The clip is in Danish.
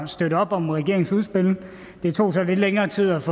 støtte op om regeringens udspil det tog så lidt længere tid også